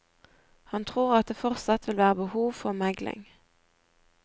Han tror at det fortsatt vil være behov for megling.